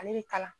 Ale bɛ kala